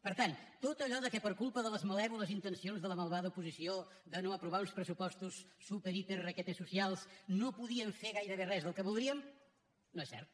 per tant tot allò que per culpa de les malèvoles intencions de la malvada oposició de no aprovar uns pressupostos superhiperrequetesocials no podien fer gairebé res del que voldrien no és cert